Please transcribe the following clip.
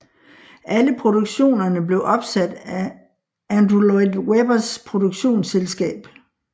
Alle produktionerne blev opsat af Andrew Lloyd Webbers produktionsselskab